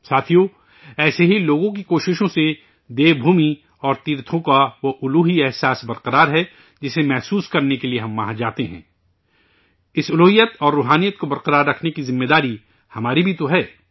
ساتھیو، ایسے ہی لوگوں کی کوششوں سے دیوتاؤں کی سرزمین دیوبھومی اور تیرتھوں کا وہ دیویہ احساس قائم ہے، جسے محسوس کرنے کے لئے ہم وہاں جاتے ہیں، اس دیوتو اور روحانیت کو قائم رکھنے کی ذمہ داری ہماری بھی تو ہے